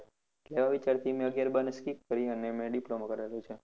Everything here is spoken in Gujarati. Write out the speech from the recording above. એટલે આ વિચારથી મેં આગિયાર બાર ને skip કરીને મેં diploma કરેલું છે.